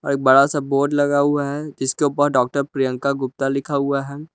एक बड़ा सा बोर्ड लगा हुआ है जिसके ऊपर डॉक्टर प्रियंका गुप्ता लिखा हुआ है।